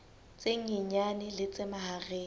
tse nyenyane le tse mahareng